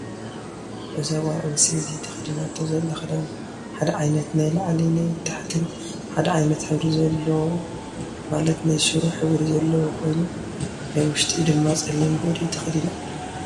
እዛ ጋል ኣነስተይቲ ተከዲናቶ ዘላ ክዳን ሓደ ዓይነት ናይ ላዕሊ ናይ ታሕትን ሓደ ዓይነት ሕብሪ ዘሎ ማለት ናይ ሽሮ ሕብሪ አለዎ ኮይኑ ናይ ውሽቲ ድማ ፀሊም ቦዲ ተከዲና ኣላ።